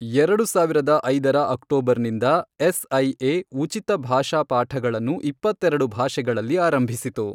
ಎರಡು ಸಾವಿರದ ಐದರ ಅಕ್ಟೋಬರ್ನಿಂದ ಎಸ್ಐಎ ಉಚಿತ ಭಾಷಾ ಪಾಠಗಳನ್ನು ಇಪ್ಪತ್ತೆರೆಡು ಭಾಷೆಗಳಲ್ಲಿ ಆರಂಭಿಸಿತು.